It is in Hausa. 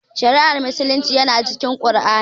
Shari'ar musulunci yana cikin Qur'ani